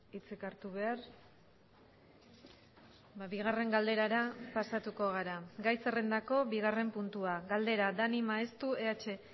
hitzik hartu behar bigarren galderara pasatuko gara gai zerrendako bigarren puntua galdera dani maeztu eh